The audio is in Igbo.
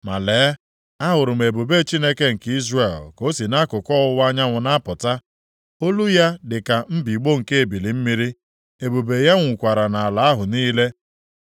Ma lee, ahụrụ m ebube Chineke nke Izrel ka o si nʼakụkụ ọwụwa anyanwụ na-apụta. Olu ya dị ka mbigbọ nke ebili mmiri, ebube ya nwukwara nʼala ahụ niile.